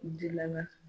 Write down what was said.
Jilama